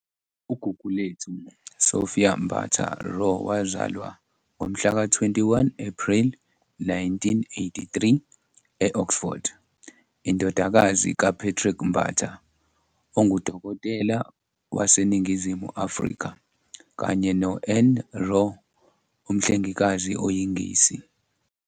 UGugulethu Sophia Mbatha-Raw wazalwa ngomhlaka 21 Ephreli 1983 e- Oxford, indodakazi kaPatrick Mbatha, ongudokotela waseNingizimu Afrika, kanye no-Anne Raw, umhlengikazi oyiNgisi.